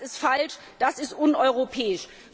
Das ist falsch, das ist uneuropäisch!